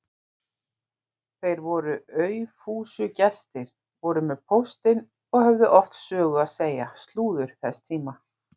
Þeir voru aufúsugestir, voru með póstinn og höfðu oft sögur að segja, slúður þess tíma.